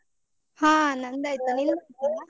ಹ ನಂದು ಆಯ್ತು, ನಿಂದು ಆಯ್ತಾ?